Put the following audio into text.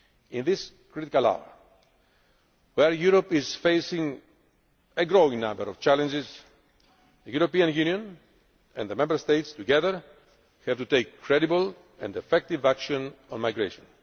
In this critical hour, where Europe is facing a growing number of challenges, the European Union and the Member States together have to take credible and effective action on migration.